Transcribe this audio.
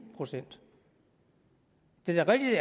procent det er da